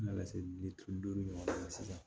N nana se bitulu ma sisan